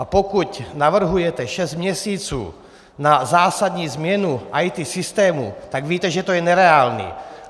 A pokud navrhujete šest měsíců na zásadní změnu IT systému, tak víte, že to je nereálné.